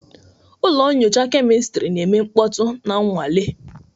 Ụlọ nyocha kemịstri na-eme mkpọtụ na nnwale.